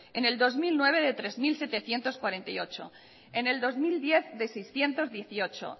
en el dos mil nueve de tres mil setecientos cuarenta y ocho en el dos mil diez de seiscientos dieciocho